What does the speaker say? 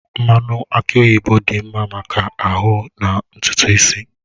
Mmanụ aki oyibo dị mma maka ahụ na ntutu isi.